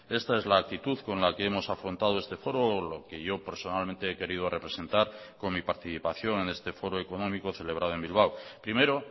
esta es la actitud con la que hemos afrontado este foro lo que yo personalmente he querido representar con mi participación en este foro económico celebrado en bilbao primero